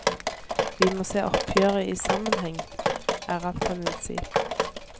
Vi må se oppgjøret i sammenheng, er alt han vi si.